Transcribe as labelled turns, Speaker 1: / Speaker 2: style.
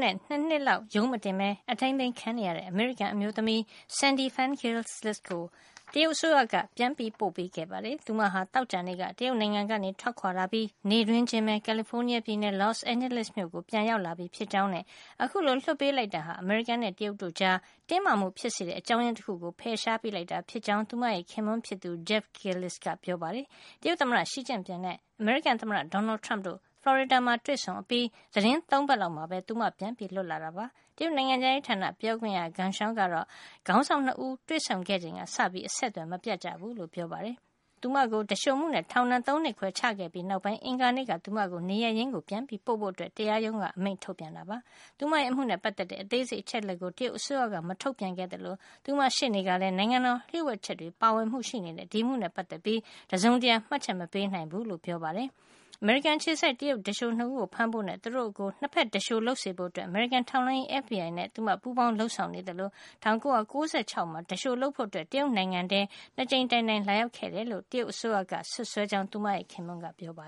Speaker 1: နဲ့ ၂ နှစ်လောက် ရုံးမတင်ပဲ အထိမ်းသိမ်း ခံနေရတဲ့ အမေရိကန် အမျိုးသမီး Sandy Phan-Gillis ကို တရုတ် အစိုးရက ပြန်ပို့ ပေးခဲ့ပါတယ်။ သူမဟာ သောကြာနေ့က တရုတ်နိုင်ငံကနေ ထွက်ခွါလာပြီး နေ့တွင်းချင်းပဲ ကာလီဖိုးနီးယား ပြည်နယ်၊ Los Angeles မြို့ကို ပြန်လည် ရောက်ရှိလာပြီ ဖြစ်ကြောင်းနဲ့ အခုလို လွှတ်ပေးလိုက် တာဟာ အမေရိကန်နဲ့ တရုတ်တို့ကြား တင်းမာမှု ဖြစ်စေတဲ့ အကြောင်းရင်း တခုကို ဖယ်ရှား ပေးလိုက်တာ ဖြစ်ကြောင်း သူမရဲ့ ခင်ပွန်းဖြစ်သူ Jeff Gillis က ပြောပါတယ်။ တရုတ်သမ္မတ Xi Jinping နဲ့ အမေရိကန် သမ္မတ Donald Trump တို့ ဖလော်ရီဒါ မှာ တွေ့ဆုံအပြီး သီတင်း ၃ ပတ်လောက်မှာပဲ သူမ ပြန်လွတ် လာတာ ဖြစ်ပါတယ်။ တရုတ် နိုင်ငံခြားရေးဌာန ပြောခွင့်ရ Geng Shuang ကတော့ ခေါင်းဆောင် ၂ ဦး တွေ့ဆုံခဲ့ချိန်က စပြီး အဆက်သွယ် မပြတ်ကြဘူးလို့ ပြောပါတယ်။ သူမကို သူလျှိုမှုနဲ့ ထောင်ဒဏ် ၃ နှစ်ခွဲ ချခဲ့ပြီး နောက်ပိုင်း အင်္ဂါနေ့က သူမကိုနေရပ်ရင်း ပြန်ပို့ဖို့ တရားရုံးက အမိန့်ထုတ်ပြန်ခဲ့တာ ဖြစ်ပါတယ်။ သူမရဲ့ အမှုှုနဲ့ ပတ်သက်တဲ့ အသေးစိတ် အချက်လက်ကို တရုတ်အစိုးရက မထုတ်ပြန်ခဲ့ သလို သူမရဲ့ ရှေ့နေကလည်း နိုင်ငံတော် လျှို့ဝှက်ချက်တွေ ပါဝင်မှု ရှိနေတဲ့ ဒီအမှုနဲ့ ပတ်သက်ပြီး တစုံတရာ မှတ်ချက် မပေးနိုင်ဘူးလို့ ရိုက်တာ သတင်းဌာနကို ပြောပါတယ်။ အမေရိကန် အခြေစိုက် တရုတ်သူလျှို ၂ ဦးကို ဖမ်းဖို့နဲ့ သူတို့ကို ၂ ဖက်သူလျှိုလုပ်စေဖို့ အတွက် အမေရိကန် ထောက်လှန်းရေး FBI နဲ့ သူမ ပူးပေါင်း လုပ်ဆောင်နေသလို ၁၉၉၆ ခုနှစ်မှာ သူလျှိုလုပ်ဖို့ တရုတ်နိုင်ငံထဲ ၂ ကြိမ်တိုင်တိုင် လာရောက်ခဲ့ တယ်လို့ တရုတ်အစိုးရက စွပ်စွဲကြောင်း သူမရဲ့ ခင်ပွန်းက
Speaker 2: ပြောပါတယ်